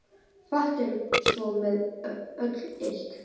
Fátt er svo með öllu illt